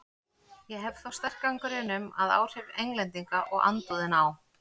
Ég hef þó sterkan grun um, að áhrif Englendinga og andúðina á